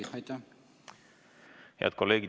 Head kolleegid!